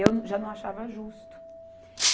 Eu já não achava justo.